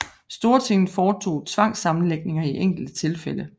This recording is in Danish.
Stortinget foretog tvangssammenlægninger i enkelte tilfælde